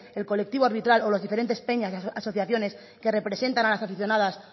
el colectivo arbitral o las diferentes peñas asociaciones que representan a las aficionadas